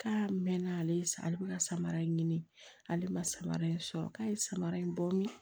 K'a mɛn ale bɛ ka samara in ɲini ale ma samara in sɔrɔ k'a ye samara in bɔ min